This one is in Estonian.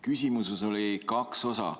Küsimuses oli kaks osa.